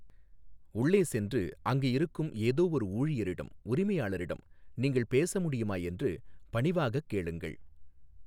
உள்ளே சென்று அங்கு இருக்கும் ஏதோ ஒரு ஊழியரிடம் உரிமையாளரிடம் நீங்கள் பேச முடியுமா என்று பணிவாகக் கேளுங்கள்.